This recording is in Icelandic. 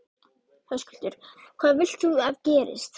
Höskuldur: Hvað vilt þú að gerist?